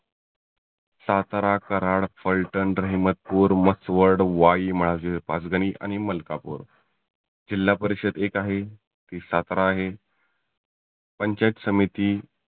सातारा, कराड, फल्टन, रहिमतपुर, मसवड, वाई, माज पाचगनी, आणि मलकापुर जिल्हापरिषद एक आहे ती सातारा आहे. पंचायत समिती